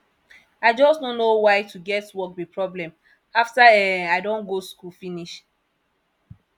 i just no know why to get work be problem after um i don go school finish